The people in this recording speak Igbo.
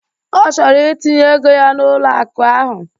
Ọ chọrọ itinye ego ya n'ụlọ akụ ahu.